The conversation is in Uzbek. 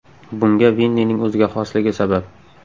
Bunga Vinnining o‘ziga xosligi sabab.